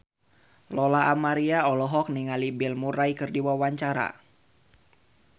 Lola Amaria olohok ningali Bill Murray keur diwawancara